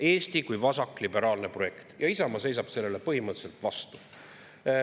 Eesti kui vasakliberaalne projekt – Isamaa seisab sellele põhimõtteliselt vastu.